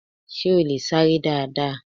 Sé o lè sáré dáadáa?